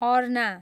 अर्ना